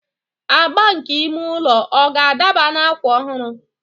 Agba nke ime ụlọ ọ ga-adaba na akwa ọhụrụ?